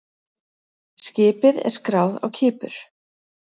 Skipið er skráð á Kípur.